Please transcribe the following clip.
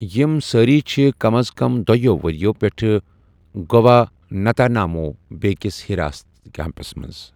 یِم سٲری چھِ کم از کم دۄیو ؤرِیو پیٚٹھٕ گُوانتانامو بے کِس حِراستی کیٚمپس منٛز۔